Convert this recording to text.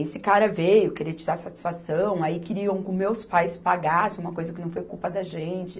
Esse cara veio, querer tirar satisfação, aí queriam que os meus pais pagassem uma coisa que não foi culpa da gente.